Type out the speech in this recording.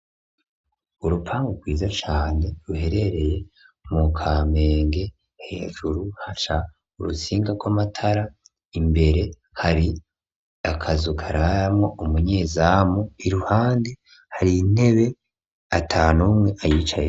Urupangu rwiza cane ruherereye mu kamenge hejuru haca urutsinga gw'amatara imbere hari akazu kararamwo umunyezamu iruhande hari intebe atanumwe ayicayeko.